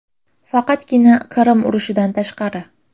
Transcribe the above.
Faqatgina Qirim urushidan tashqari.